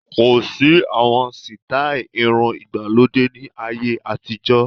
Kosi àwọn sítai irun ìgbàlódé ni ayé àtijọ́